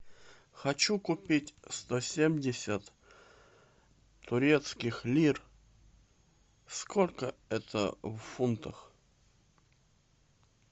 хочу купить сто семьдесят турецких лир сколько это в фунтах